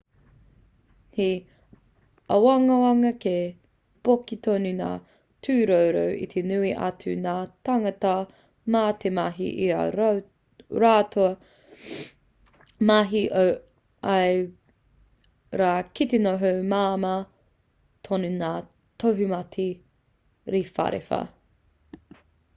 he āwangawanga kei poke tonu ngā tūroro i te nui atu o ngā tāngata mā te mahi i ā rātou mahi o ia rā ki te noho māmā tonu ngā tohumate rewharewha